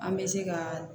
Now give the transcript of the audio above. An bɛ se ka